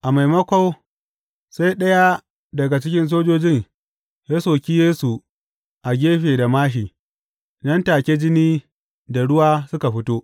A maimako, sai ɗaya daga cikin sojojin ya soki Yesu a gefe da māshi, nan take jini da ruwa suka fito.